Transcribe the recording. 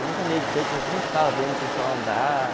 Eu nunca andei de skate, mas eu sempre ficava vendo o pessoal andar.